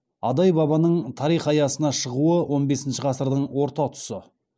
адай бабаның тарих аясына шығуы он бесінші ғасырдың орта тұсы